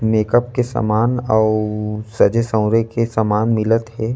Makeup के सामान अउ सजे -सवरे के समान मिलत हे।